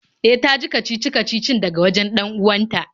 E, ta ji kacici-kacicin daga wajen 'dan uwanta